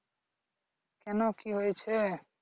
কেন কি হয়েছে